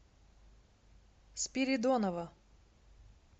спиридонова